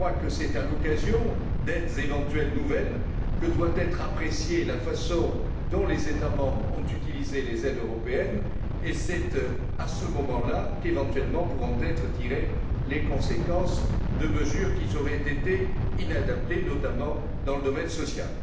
C'est à l'occasion d'aides éventuelles nouvelles que doit être appréciée la façon dont les États membres ont utilisé les aides européennes et c'est à ce moment là qu'éventuellement pourront être tirées les conséquences de mesures qui auraient été inadaptées, notamment dans le domaine social.